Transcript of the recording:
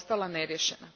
neriješena.